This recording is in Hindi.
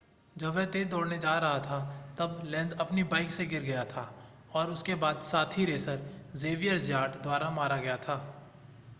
जब वह तेज़ दौड़ेने जा रहा था तब लेन्ज़ अपनी बाइक से गिर गया था और उसके बाद साथी रेसर ज़ेवियर ज़्याट द्वारा मारा गया था